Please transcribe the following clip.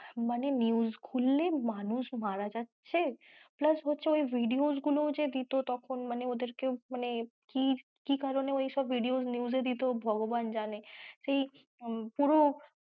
মানে news খুললে মানুষ মারা যাচ্ছে plus হচ্ছে ওই videos গুলো দিত তখন ওদেরকে মানে কী কারনে ওইসব videos news এ দিত ভগবান জানে সেই পুরো,